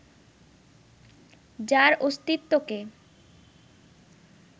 যার অস্তিত্বকে